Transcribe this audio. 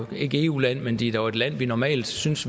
et eu land men det er jo et land vi normalt synes